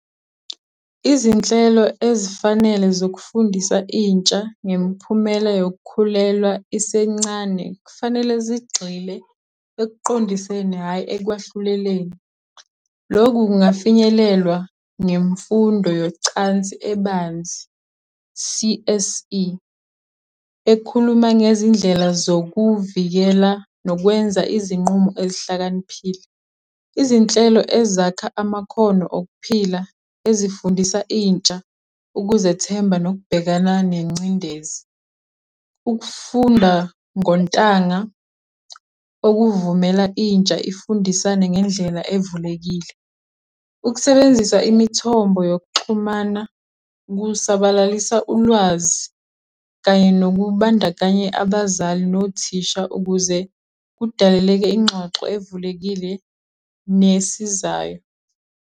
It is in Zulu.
Izinhlelo ezifanele zokufundisa intsha ngemiphumela yokukhulelwa isencane kufanele zigxile ekuqondiseni, hhayi ekwahluleleni. Lokhu kungafinyelelwa ngemfundo yocansi ebanzi, C_S_E, ekhuluma ngezindlela zokuvikela, nokwenza izinqumo ezihlakaniphile. Izinhlelo ezakha amakhono okuphila, ezifundisa intsha ukuzethemba nokubhekana nengcindezi. Ukufunda ngontanga okuvumela intsha ifundisane ngendlela evulekile. Ukusebenzisa imithombo yokuxhumana, kusabalalisa ulwazi, kanye nokubandakanya abazali nothisha ukuze kudaleleke ingxoxo evulekile nesizayo.